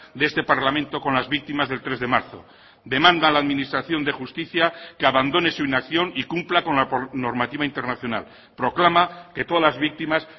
de este parlamento con las víctimas del tres de marzo demanda a la administración de justicia que abandone su inacción y cumpla con la normativa internacional proclama que todas las víctimas